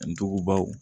Dugubaw